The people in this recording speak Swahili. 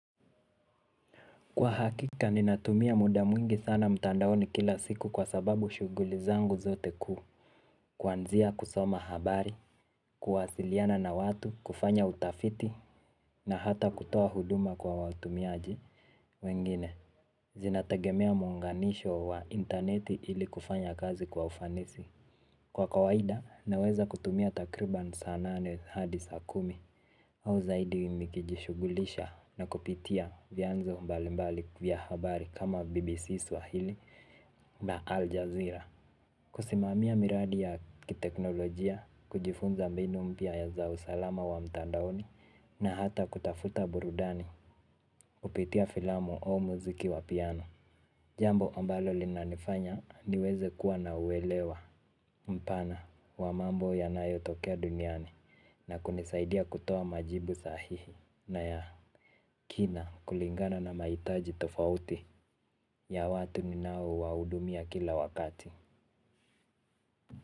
Kwa hakika ninatumia muda mwingi sana mtandaoni kila siku kwa sababu shughuli zangu zote kuu, kuanzia kusoma habari kuwasiliana na watu kufanya utafiti. Na hata kutoa huduma kwa watumiaji wengine. Zinategemea muunganisho wa intaneti ili kufanya kazi kwa ufanisi. Kwa kawaida naweza kutumia takriban saa nane hadi saa kumi. Au zaidi nikijishughulisha na kupitia vyanzo mbalimbali vya habari kama BBC Swahili na Al Jazeera. Kusimamia miradi ya kiteknolojia, kujifunza mbinu mpya za usalama wa mtandaoni na hata kutafuta burudani, kupitia filamu au muziki wa piano. Jambo ambalo linanifanya niweze kuwa na uelewa mpana wa mambo yanayotokea duniani na kunisaidia kutoa majibu sahihi na ya kina kulingana na mahitaji tofauti ya watu ninaowahudumia kila wakati.